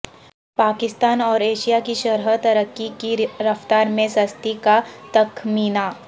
پاکستان اور ایشیا کی شرح ترقی کی رفتار میں سستی کا تخمینہ